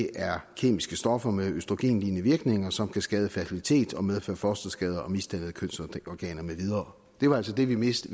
er kemiske stoffer med østrogenlignende virkninger som kan skade fertilitet og medføre fosterskader og misdannede kønsorganer med videre det var altså det vi vidste